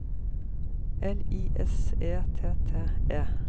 L I S E T T E